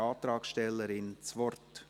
Die Antragstellerin hat das Wort.